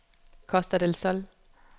Costa del Sol